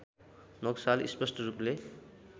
नक्साले स्पष्ट रूपले